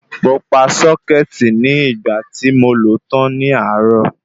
Mo pa sọ́kẹ́tì ní ìgbà tí mo lo tán ní àárò